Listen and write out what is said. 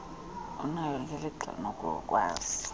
unaye gelixa unokukwazi